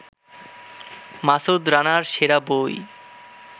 মাসুদ রানার সেরা বই